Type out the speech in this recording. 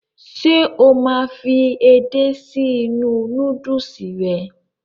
Ṣe o máa n fí edé si inú núdùùsì rẹ?